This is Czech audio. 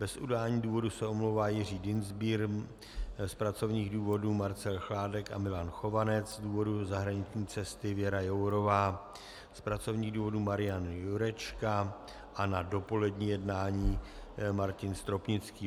Bez udání důvodu se omlouvá Jiří Dienstbier, z pracovních důvodů Marcel Chládek a Milan Chovanec, z důvodu zahraniční cesty Věra Jourová, z pracovních důvodů Marian Jurečka a na dopolední jednání Martin Stropnický.